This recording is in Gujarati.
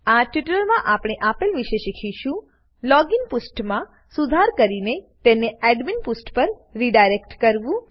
આ ટ્યુટોરીયલમાં આપણે આપેલ વિશે શીખીશું લોગિન લોગીન પુષ્ઠમાં સુધાર કરીને તેને એડમિન એડમીન પુષ્ઠ પર રીડાયરેક્ટ કરવું